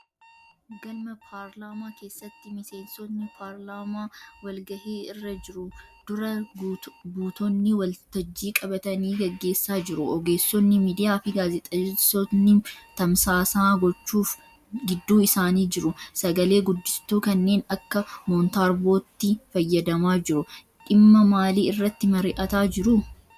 Galma paarlaamaa keessatti miseensonni paarlaamaa walgahii irra jiru. Dura buutonni waltajjii qabatanii gaggeessa jiru. Ogeessonni miidiyaafi gaazexeessonni tamsaasa gochuuf gidduu isaanii jiru. Sagale-guddistuu kanneen akka 'montaarboo'tti fayyadamaa jiru. Dhimma maalii irratti mari'ataa jiru?